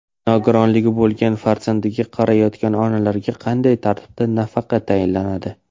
Nogironligi bo‘lgan farzandiga qarayotgan onalarga qanday tartibda nafaqa tayinlanadi?.